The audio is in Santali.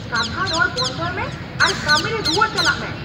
ᱠᱟᱛᱷᱟ ᱨᱚᱲ ᱵᱚᱱᱫᱚᱭ ᱢᱮ ᱟᱨ ᱠᱟᱹᱢᱤ ᱨᱮ ᱨᱩᱣᱟᱹᱲ ᱪᱟᱞᱟᱜ ᱢᱮ !